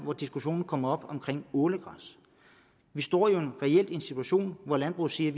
hvor diskussionen kom op omkring ålegræs vi står jo reelt i en situation hvor landbruget siger at